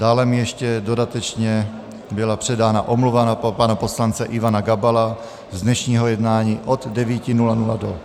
Dále mi ještě dodatečně byla předána omluva pana poslance Ivana Gabala z dnešního jednání od 9.00 do 13.00 ze zdravotních důvodů.